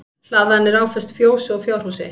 Hlaðan er áföst fjósi og fjárhúsi